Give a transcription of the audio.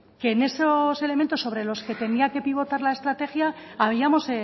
que en esos elementos sobre los que tenía que pivotar la estrategia habíamos